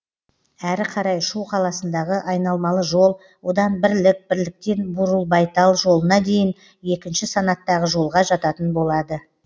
әрі қарай шу қаласындағы айналмалы жол одан бірлік бірліктен бурылбайтал жолына дейін екінші санаттағы жолға жататын болады